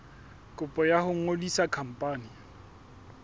kopo ya ho ngodisa khampani